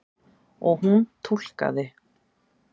Og hún túlkaði.